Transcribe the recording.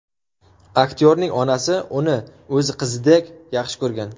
Aktyorning onasi uni o‘z qizidek yaxshi ko‘rgan.